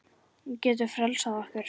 Hún getur frelsað okkur.